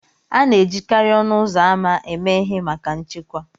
A na-ejikarị ọnụ ụzọ ámá eme ihe maka nchekwa